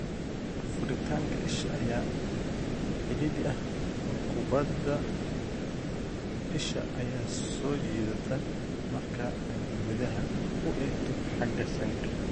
Furitaanka isha ayaa cidhiidhi ah oo kubbadda isha ayaa soo jiidata marka ay gudaha u eegto xagga sanka.